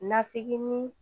Nafiki ni